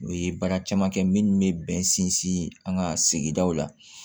U ye baara caman kɛ minnu bɛ bɛn sinsin an ka sigidaw la